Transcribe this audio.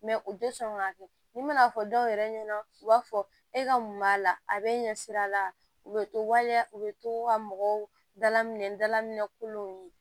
u tɛ sɔn k'a kɛ ni mana fɔ dɔw yɛrɛ ɲɛna u b'a fɔ e ka mun b'a la a bɛ ɲɛsira la u bɛ to waleya u bɛ to ka mɔgɔw dalaminɛ dala minɛ kolonw ye